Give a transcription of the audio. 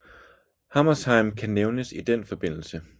Hammershaimb kan nævnes i den forbindelse